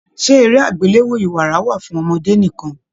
Ṣe eré agbelewo ìwárà wà fún ọmọdé nìkan?